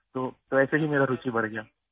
تو ویسے ہی میری دلچسپی بڑھتی گئی